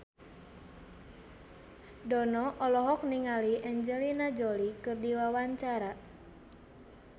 Dono olohok ningali Angelina Jolie keur diwawancara